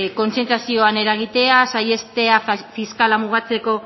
kontzientziazioan eragitea saihestea fiskala mugatzeko